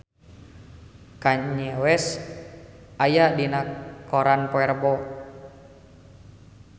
Kanye West aya dina koran poe Rebo